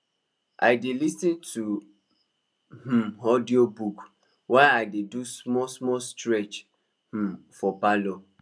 i dey lis ten to um audiobook while i dey do small small stretch um for parlour